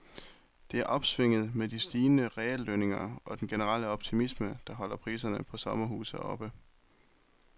Det er opsvinget med de stigende reallønninger og den generelle optimisme, der holder priserne på sommerhuse oppe.